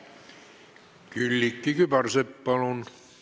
Külliki Kübarsepp, palun!